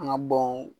An ka bɔn